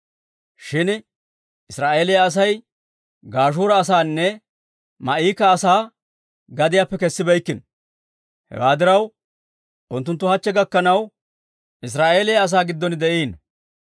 Shin Israa'eeliyaa Asay Gashuura asaanne Maa'ika asaa gadiyaappe kessibeykkino; hewaa diraw unttunttu hachche gakkanaw Israa'eeliyaa asaa giddon de'iino.